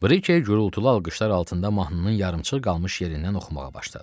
Brike gurultulu alqışlar altında mahnının yarımçıq qalmış yerindən oxumağa başladı.